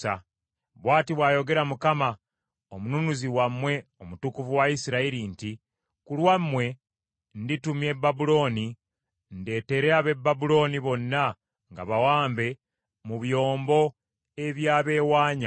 Bw’ati bw’ayogera Mukama , Omununuzi wammwe, Omutukuvu wa Isirayiri nti, “Ku lwammwe nditumya e Babulooni, ndeetere ab’e Babulooni bonna nga bawambe mu byombo ebyabeewanya.